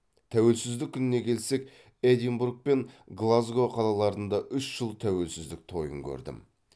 тәуелсіздік күніне келсек эдинбург пен глазго қалаларында үш жыл тәуелсіздік тойын көрдім